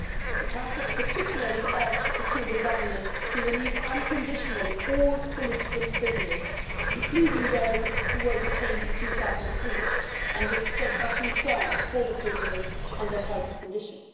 The Council particularly urged the Cuban Government to release unconditionally all political prisoners, including those who were detained in 2003, and we expressed our concerns for the prisoners and their health condition.